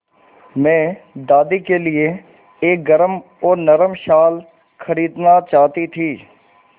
मैं दादी के लिए एक गरम और नरम शाल खरीदना चाहती थी